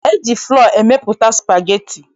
E ji flọ emepụta spageti.